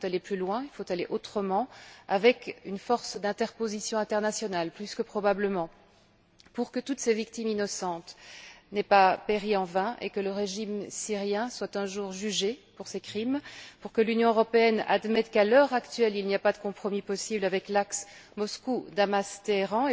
Il faut aller plus loin, il faut aller autrement, avec une force d'interposition internationale, plus que probablement, pour que toutes ces victimes innocentes n'aient pas péri en vain, et que le régime syrien soit un jour jugé pour ses crimes, pour que l'Union européenne admette qu'à l'heure actuelle, il n'y a pas de compromis possible avec l'axe Moscou Damas Téhéran.